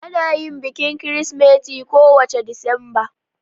Ana yin bikin Kirsimeti kowace Disamba.